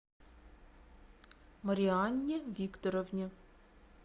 марианне викторовне